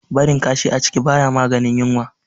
Barin kashi a ciki baya maganin yunwa.